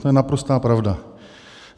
To je naprostá pravda.